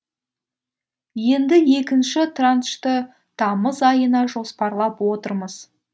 енді екінші траншты тамыз айына жоспарлап отырмыз